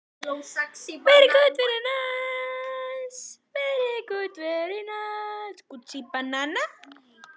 Hver er þar? galaði Tóti einhvers staðar úr húsinu.